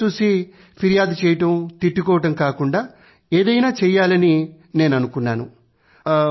అదంతా చూసి ఫిర్యాదు చెయ్యడం తిట్టుకోవడం కాకుండా ఏదైనా చెయ్యాలని నేను అనుకున్నాను